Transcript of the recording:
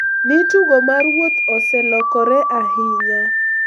Ni tugo mar wuoth ​​oselokore ahinya.